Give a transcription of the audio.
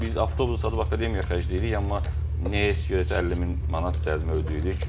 Biz avtobusu satıb akademiyaya xərcləyirik, amma nə isə görəsən 50 min manat cərimə ödəyirik?